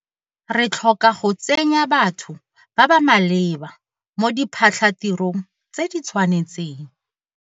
Re tlhoka go tsenya batho ba ba maleba mo diphatlhatirong tse di tshwanetseng.